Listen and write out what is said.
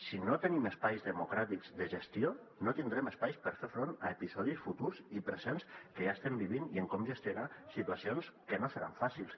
si no tenim espais democràtics de gestió no tindrem espais per fer front a epi·sodis futurs i presents que ja estem vivint i en com gestionar situacions que no seran fàcils